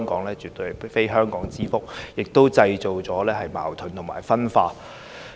這絕非香港之福，亦製造了矛盾和分化。